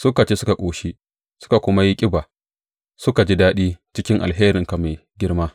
Suka ci suka ƙoshi, suka kuma yi ƙiba; suka ji daɗi cikin alherinka mai girma.